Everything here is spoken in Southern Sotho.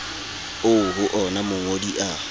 oo ho ona mongodi a